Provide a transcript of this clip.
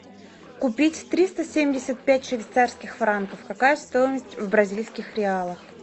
купить триста семьдесят пять швейцарских франков какая стоимость в бразильских реалах